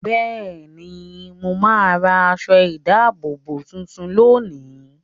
Bẹ́ẹ̀ ni, mà á ra aṣọ-ìdáàbòbò tuntun lónìí.